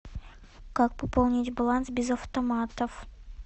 как пополнить баланс без автоматов